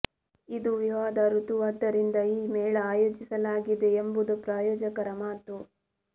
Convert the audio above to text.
ಇದು ವಿವಾಹದ ಋತುವಾದ್ದರಿಂದ ಈ ಮೇಳ ಆಯೋಜಿಸಲಾಗಿದೆ ಎಂಬುದು ಪ್ರಾಯೋಜಕರ ಮಾತು